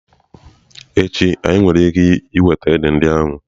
Echi, anyị nwere ike iweta édè ndị ahụ?